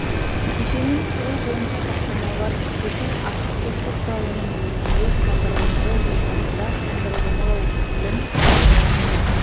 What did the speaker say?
кешенін құру бойынша тапсырмаларын шешу ашық кодты құралының негізінде бағдарламалау ортасында бағдарламалау тілін қолдану арқылы